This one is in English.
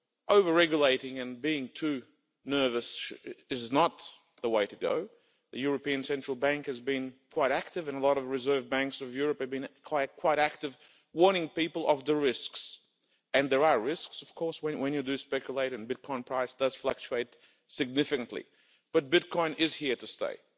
Over-regulating and being too nervous is not the way to go. The European Central Bank has been quite active, and a lot of reserve banks in Europe have been quite active, warning people of the risk and there are risks when you speculate, and the bitcoin price does fluctuate significantly but bitcoin is here to stay.